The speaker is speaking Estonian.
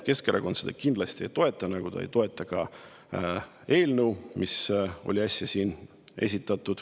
Keskerakond seda kindlasti ei toeta, nagu ta ei toeta ka eelnõu, mida siin äsja esitleti.